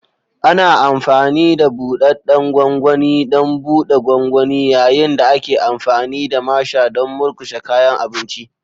Ana amfani da buɗaɗɗen gwangwani don buɗe gwangwani, yayin da ake amfani da masher don murƙushe kayan abinci.